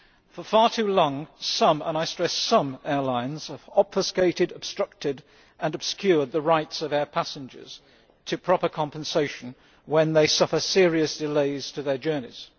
For far too long, some and I stress some airlines have obfuscated, obstructed and obscured the rights of air passengers to proper compensation when they suffer serious delays to their journeys.